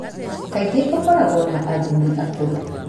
Kaingĩ ũkoragwo na athuri akũrũ.